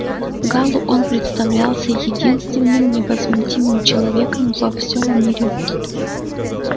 гаалу он представлялся единственным невозмутимым человеком во всём мире